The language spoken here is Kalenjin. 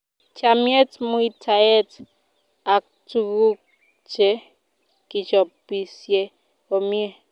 Chamiet, muitaet aktukuk che kichopisie komie